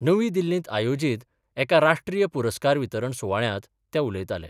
नवी दिल्लीत आयोजीत एका राष्ट्रीय पुरस्कार वितरण सुवाळ्यांत ते उलयताले.